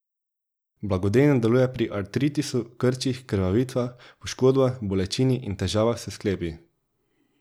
Blagodejno deluje pri artritisu, krčih, krvavitvah, poškodbah, bolečini in težavah s sklepi.